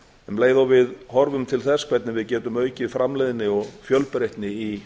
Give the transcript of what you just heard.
um leið og við horfum til þess hvernig við getum aukið framleiðni og fjölbreytni í